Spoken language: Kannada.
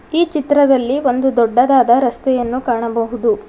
ಈ ಚಿತ್ರದಲ್ಲಿ ಒಂದು ದೊಡ್ಡದಾದ ರಸ್ತೆಯನ್ನು ಕಾಣಬಹುದು.